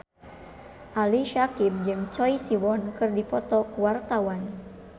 Ali Syakieb jeung Choi Siwon keur dipoto ku wartawan